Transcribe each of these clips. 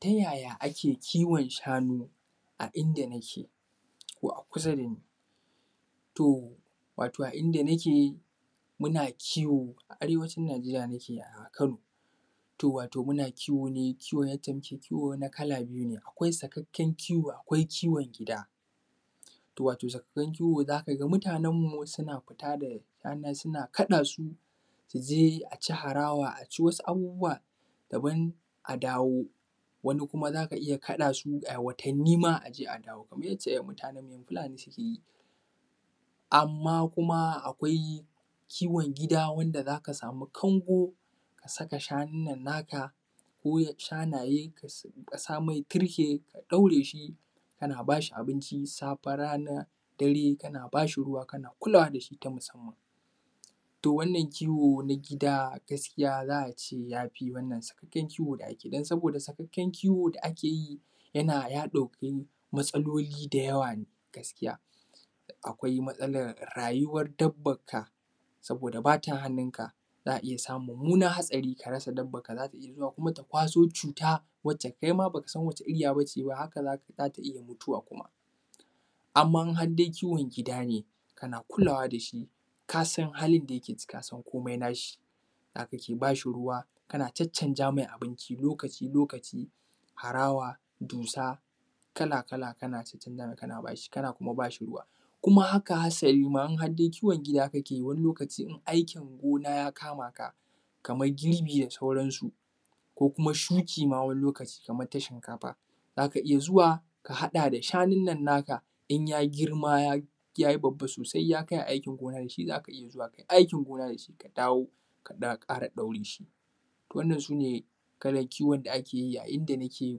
Tayaya ake kiwon shanu a inda nike? Ko a kusa dani? To wato a inda nike muna kiwo a arewacin Nijeriya nike a Kano, to wato muna kiwo ne yace muke kiwo na kala biyu ne, akwai sakkaken kiwo, akwai kiwon gida, wato sakakken kiwo zaka ga mutanenmu suna fita anan suna kaɗa su, su je aci harawa, aci wasu abubuwa dabam a dawo, wani kuma zaka iya kaɗa ayi watanima aje a dawo, kamar yace mutane fulani suke yi. Amma kuma akwai kiwon gida wanda zaka samu kango, ka saka shanu nan naka, ko shanaye, ka samai tarke ka ɗaure shi kana bashi abinci, safe, rana, dare, kana bashi ruwa kana kulawa dashi ta musamman, to wannan kiwo na gida gaskiya za ace yafi wannan sakakken kiwo da ake yi, don saboda sakakken kiwo da ake yi yana ya ɗauki matsaloli da yawa ne gaskiya, akwai matsalar rayuwar dabbanka, saboda bata hannunka za a iya samun mummunan hatsari ka rasa dabbanka, zata iya zuwa kuma ta kwaso cuta, wacce kai ma baka san wace iriya bace haka zata iya mutuwa kuma. Amman har da kiwon gida ne kana kulawa da shi kasan halin da yake ciki, kasan kome nashi, zaka ke bashi ruwa, kana caccanza mai abinci lokaci-lokaci, harawa, dusa kala-kala kana cacanza mai kana kuma bashi ruwa, kuma haka halima in har dai kiwon gida kake yi wani lokaci in aikin gona ya kama ka, kamar girbi da sauransu, ko kuma shuki ma wani lokaci, kamar ta shinkafa, zaka iya zuwa ka haɗa da shanun nan naka in ya girma yayi babba sosai ya kai ayi aikin gona dashi zaka iya kai aikin gona dashi, ka dawo ka kara ɗaura shi. To wannan su ne kalan kiwon da ake yi a inda nike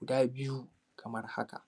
guda biyu kamar haka.